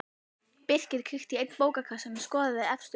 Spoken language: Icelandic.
Birkir kíkti í einn bókakassann og skoðaði efstu bókina.